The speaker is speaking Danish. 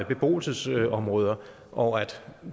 beboelsesområder og at